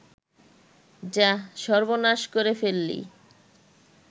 যাঃ সর্বনাশ করে ফেললি